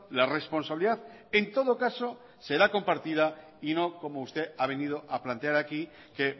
la responsabilidad en todo caso será compartida y no como usted ha venido a plantear aquí que